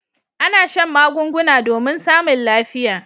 A'na shan magunguna domin samun lafiya.